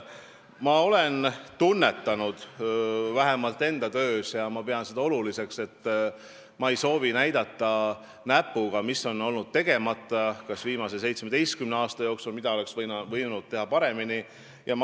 Ma olen vähemalt enda töös tunnetanud ja pidanud oluliseks seda, et ma ei soovi näidata näpuga, mis on jäänud viimase 17 aasta jooksul tegemata või mida oleks võinud teha paremini.